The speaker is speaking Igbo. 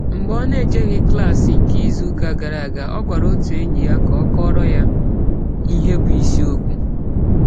Mgbe ọ n'ejeghị klaasị nke izuụka gara aga, ọ gwara otu enyi ya ka ọ kọọrọ ya ihe bụ isiokwu